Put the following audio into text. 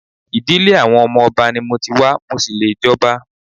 Ìdílé àwọn ọmọ Ọba ni mo ti wá, mo ṣì lè jọba.